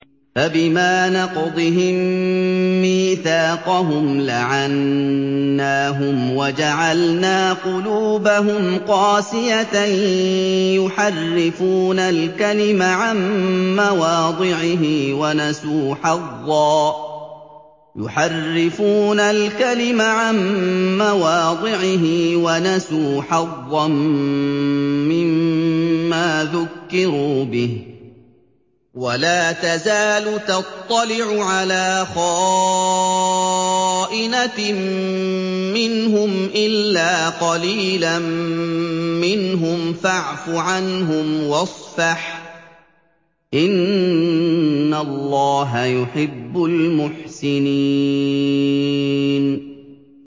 فَبِمَا نَقْضِهِم مِّيثَاقَهُمْ لَعَنَّاهُمْ وَجَعَلْنَا قُلُوبَهُمْ قَاسِيَةً ۖ يُحَرِّفُونَ الْكَلِمَ عَن مَّوَاضِعِهِ ۙ وَنَسُوا حَظًّا مِّمَّا ذُكِّرُوا بِهِ ۚ وَلَا تَزَالُ تَطَّلِعُ عَلَىٰ خَائِنَةٍ مِّنْهُمْ إِلَّا قَلِيلًا مِّنْهُمْ ۖ فَاعْفُ عَنْهُمْ وَاصْفَحْ ۚ إِنَّ اللَّهَ يُحِبُّ الْمُحْسِنِينَ